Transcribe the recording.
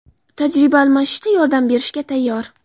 tajriba almashishda yordam berishga tayyor.